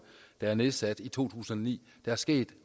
der blev nedsat i to tusind og ni der er sket